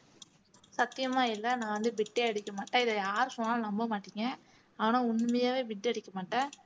சத்தியமா இல்லை நான் வந்து bit ஏ அடிக்க மாட்டேன் இதை யார் சொன்னாலும் நம்ப மாட்டீங்க ஆனா உண்மையாவே bit அடிக்க மாட்டேன்